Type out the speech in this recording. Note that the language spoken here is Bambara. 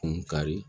Kun kari